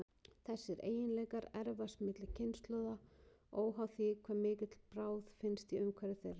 Þessir eiginleikar erfast milli kynslóða, óháð því hve mikil bráð finnst í umhverfi þeirra.